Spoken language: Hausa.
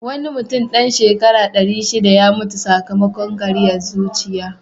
Wani mutum dan shekara ɗari shiɗa ya mutu sakamakon ƙariyan zuciya.